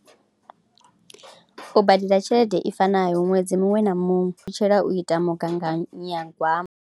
U badela tshelede i fanaho ṅwedzi muṅwe na muṅwe ṱutshela u ita mugaganyagwama.